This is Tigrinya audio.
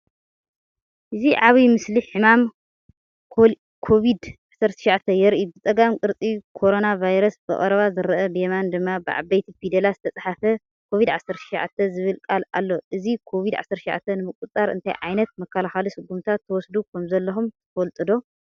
እዚ ዓቢ ምስሊ ሕማም ኮቪድ-19 የርኢ። ብጸጋም ቅርፂ ኮሮና ቫይረስ ብቐረባ ዝርአ፣ ብየማን ድማ ብዓበይቲ ፊደላት ዝተፅሓፈ “ኮቪድ-19” ዝብል ቃል ኣሎ። እዚ "Covid-19 ንምቁፅፃር እንታይ ዓይነት መከላኸሊ ስጉምትታት ትወስዱ ከምዘለኹም ትፈልጡ ዶ?